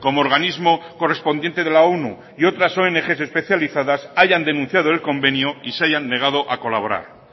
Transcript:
como organismo correspondiente de la onu y otras ong especializadas hayan denunciado el convenio y se hayan negado a colaborar